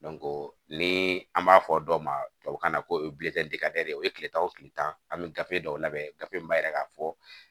ni an b'a fɔ dɔ ma tubabukan na ko o ye tile tan o kile tan an bɛ gafe dɔw labɛn gafe in b'a jira k'a fɔ